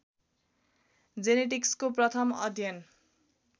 जेनेटिक्सको प्रथम अध्ययन